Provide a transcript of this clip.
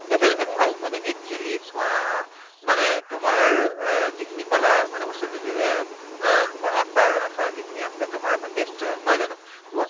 ভাল মানে actually চোৱা মানে তোমাৰ এহ যি খিনি কলে যে বস্তু টো যে এহ তোমাৰ আচাৰ, আচাৰ যিখিনি আছে তোমাৰ বা taster নহয় জানো?